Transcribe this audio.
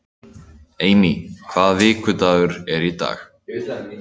Amy, hvaða vikudagur er í dag?